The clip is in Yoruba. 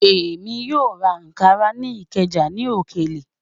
Ẹmi yó rá Ànkárà ni Ìkéja ní òkèlè